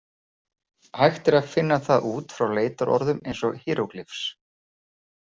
"Hægt er að finna það út frá leitarorðum eins og ""hieroglyphs."